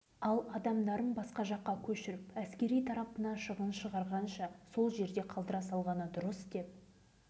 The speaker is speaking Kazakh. сондықтан қорғаныс министрлігі павлодар облысынан алынған жерді ың-шыңсыз семей облысына қоса салған